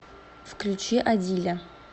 включи адиля